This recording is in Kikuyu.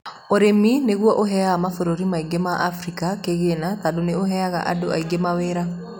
ũrĩmi nigũo ũheaga mabũrũri maingĩ ma Africa kĩgĩna tondũ ni ũheaga andũ aingi mawĩra